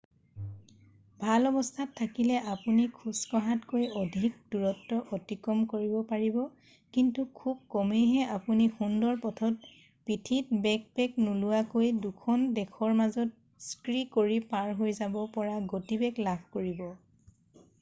ভাল অৱস্থাত থাকিলে আপুনি খোজকঢ়াতকৈ অধিক দূৰত্ব অতিক্ৰম কৰিব পাৰিব কিন্তু খুব কমেইহে আপুনি সুন্দৰ পথত পিঠিত বেকপেক নোলোৱাকৈ দুখন দেশৰ মাজত স্কী কৰি পাৰ হৈ যাব পৰা গতিবেগ লাভ কৰিব